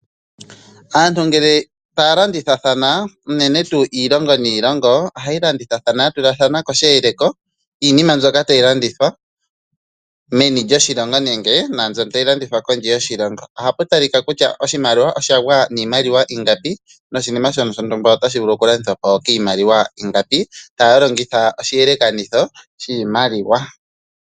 Aantu gele taya ladithathana unene tuu iilongo niilongo. Ohayi landithathana ya tula koshiyele ko shiinima mbyoka tayi landitha meni lyoshilongo nenge naambyoka tayi landithwa kondje yoshilongo. Ohapu talika kutya oshimaliwa osha gwa niimaliwa iingapi noshinima shoka shontumba otashi vulu okulandithwa po kwiingapi, taya longitha oshiyelekanitho shiimaliwa.